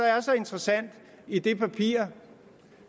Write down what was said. er så interessant i det papir